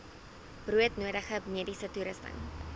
broodnodige mediese toerusting